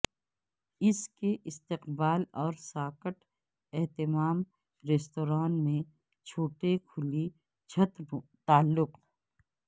اس کے استقبال اور ساکٹ اہتمام ریستوران میں چھوٹے کھلی چھت تعلق